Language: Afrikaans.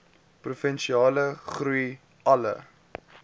provinsiale groei alle